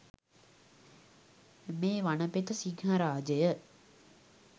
මේ වනපෙත සිංහරාජය